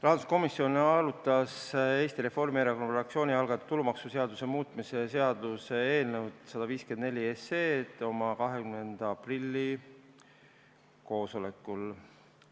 Rahanduskomisjon arutas Eesti Reformierakonna fraktsiooni algatatud tulumaksuseaduse muutmise seaduse eelnõu 154 oma 20. aprilli koosolekul.